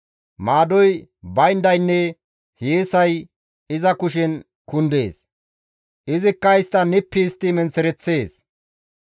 Maadoy bayndaynne hiyeesay iza kushen kundees; izikka istta nippi histti menththereththees.